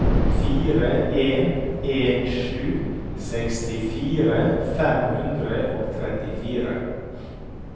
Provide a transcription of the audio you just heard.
fire en en sju sekstifire fem hundre og trettifire